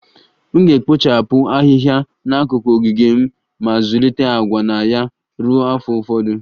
M ga-ekpochapụ Ahịhịa n'akụkụ ogige m ma zụlite agwa na ya ruo afọ ụfọdụ